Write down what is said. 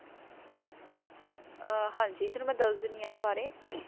ਹਨ ਜੀ ਮੈਂ ਤੁਆਨੁ ਦਾਸ੍ਦੇਦੀ ਆਂ ਏਨਾ ਬਰੀ ਅਮ